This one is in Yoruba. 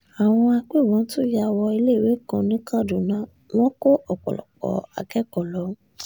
àwọn agbébọn tún ya wọ iléèwé kan ní kaduna wọn kó ọ̀pọ̀lọpọ̀ akẹ́kọ̀ọ́ lọ